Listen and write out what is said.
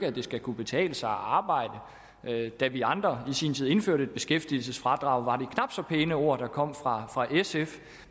at det skal kunne betale sig at arbejde da vi andre i sin tid indførte et beskæftigelsesfradrag var det knap så pæne ord der kom fra sf